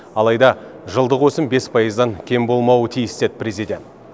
алайда жылдық өсім бес пайыздан кем болмауы тиіс деді президент